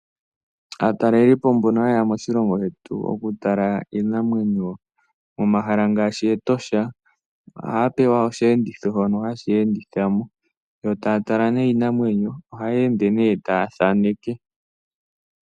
Aatalelipo mbono hayeya moshilongo shetu okutala iinamwenyo momahala ngaashi etosha, ohaya pewa oshiyenditho, shono hashiya enditha mo, yo taya tala nee iinamwenyo, yo taya ende taya thaaneke.